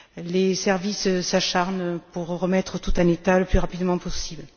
Les services s'acharnent pour remettre tout en état le plus rapidement possible.